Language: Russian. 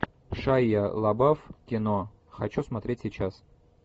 шайа лабаф кино хочу смотреть сейчас